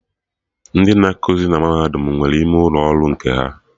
Ndị na ekuzi na Mahadum nwere ime ụlọ ọrụ nke ha